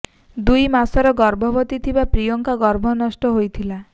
ଦୁଇ ମାସର ଗର୍ଭବତୀ ଥିବା ପ୍ରିୟାଙ୍କ ଗର୍ଭ ନଷ୍ଟ ହୋଇଥିଲା